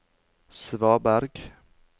svaberg